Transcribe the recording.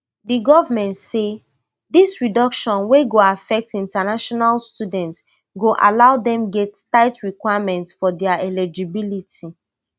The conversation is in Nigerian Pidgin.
di govment say dis reduction wey go affect international students go allow dem get tight requirements for dia eligibility